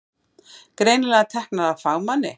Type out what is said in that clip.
Greinilega teknar af fagmanni.